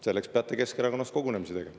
Selleks peate Keskerakonnas kogunemise tegema.